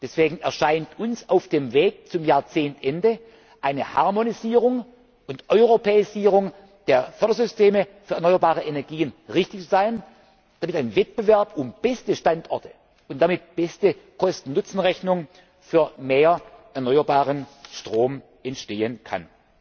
Deswegen erscheint uns auf dem Weg bis zum Ende des Jahrzehnts eine Harmonisierung und Europäisierung der Fördersysteme für erneuerbare Energien richtig zu sein, damit ein Wettbewerb um beste Standorte und damit beste Kosten Nutzen Rechnungen für mehr erneuerbaren Strom entstehen kann.